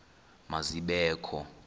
ma zibe kho